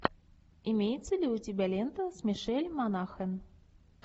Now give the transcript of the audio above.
имеется ли у тебя лента с мишель монахэн